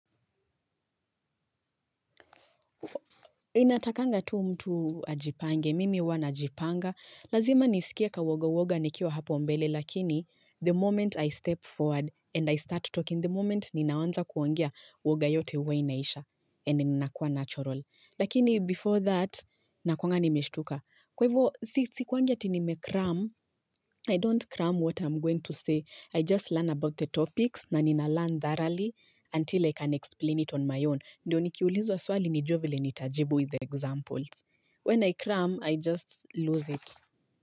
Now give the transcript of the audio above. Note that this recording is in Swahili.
Inatakanga tu mtu ajipange, mimi wana ajipanga, lazima nisikia ka woga woga nikiwa hapo mbele lakini the moment I step forward and I start talking, the moment ninawanza kuangia woga yote uwe inaisha and nina kuwa natural. Lakini before that na kwanga nimeshtuka kwaivyo si kwanja tinime crumb I don't crumb what I'm going to say I just learn about the topics na nina learn thoroughly until I can explain it on my own ndio nikiulizu wa swali nijue vile nitajibu with the examples when I crumb I just lose it.